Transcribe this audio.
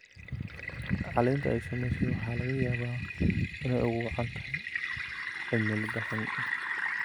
Caleenta ay saamaysay waxaa laga yaabaa inay ugu wacan tahay cimilada xun.